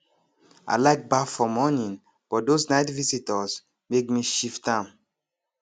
i like baff for morning but those night visitors make me shift am